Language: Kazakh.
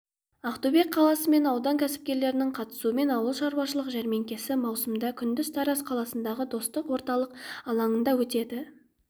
ақтөбе қаласы мен аудан кәсіпкерлерінің қатысуымен ауылшаруашылық жәрмеңкесі маусымда күндіз тараз қаласындағы достық орталық алаңында өтеді